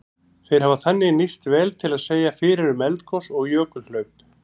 Þeir hafa þannig nýst vel til að segja fyrir um eldgos og jökulhlaup.